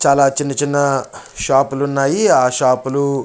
చాలా చిన్న చిన్న షాప్ లున్నాయ్ ఆ షాప్ లు --